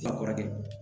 kɔrɔkɛ